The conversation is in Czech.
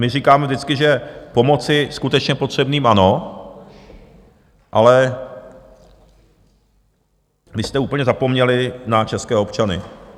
My říkáme vždycky, že pomoci skutečně potřebným ano, ale vy jste úplně zapomněli na české občany.